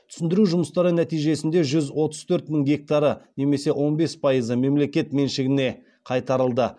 түсіндіру жұмыстары нәтижесінде жүз отыз төрт мың гектары немесе он бес пайызы мемлекет меншігіне қайтарылды